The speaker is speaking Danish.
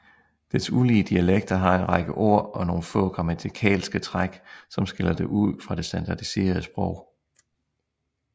Dets ulige dialekter har en række ord og nogen få grammatikalske træk som skiller det ud fra det standardiserede sprog